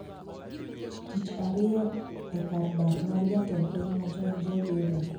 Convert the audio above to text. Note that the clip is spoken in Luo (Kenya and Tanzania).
Tich ariyo e kar dak mar jatend piny machon Joe Biden